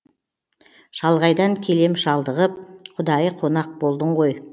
шалғайдан келем шалдығып құдайы қонақ болдың ғой